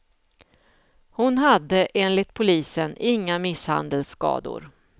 Hon hade, enligt polisen, inga misshandelsskador.